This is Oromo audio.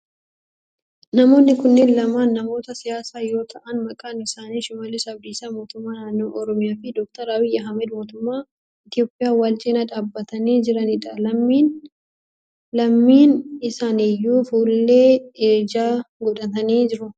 Namoonni kunneen lamaan namoota siyaasaa yoo ta'aan maqaan isaanii shimallis Abdiisaa mootummaa naannoo oromiyaa fi Dr. Abiyi Ahimeed mootummaa Itiyoophiyaa wal cinaa dhaabbatanii jiranidha. Lameen isaaniyyuu fuullee ijaa godhatanii jiru.